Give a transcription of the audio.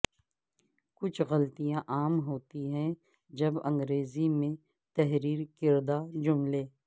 کچھ غلطیاں عام ہوتی ہیں جب انگریزی میں تحریر کردہ جملے